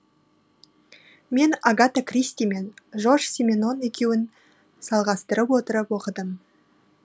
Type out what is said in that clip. мен агата кристи мен жорж сименон екеуін салғастырып отырып оқыдым